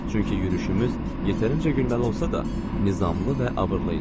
Çünki yürüşümüz yetərincə gülməli olsa da, nizamlı və abırlı idi.